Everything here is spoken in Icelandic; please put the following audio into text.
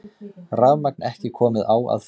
Rafmagn ekki komið á að fullu